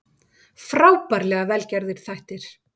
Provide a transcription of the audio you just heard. Frábærlega vel gerðir þættir